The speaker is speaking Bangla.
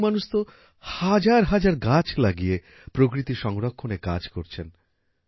কিছু মানুষ তো হাজার হাজার গাছ লাগিয়ে প্রকৃতি সংরক্ষণ এর কাজ করছেন